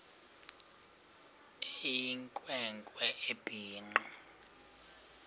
eyinkwe nkwe ebhinqe